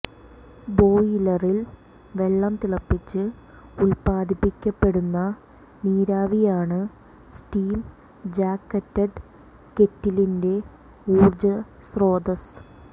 ബോയിലറിൽ വെള്ളം തിളപ്പിച്ച് ഉൽപാദിപ്പിക്കപ്പെടുന്ന നീരാവിയാണ് സ്റ്റീം ജാക്കറ്റഡ് കെറ്റിലിന്റെ ഊർജസ്രോതസ്